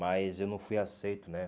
Mas eu não fui aceito, né?